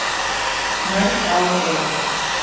Mörg ár eru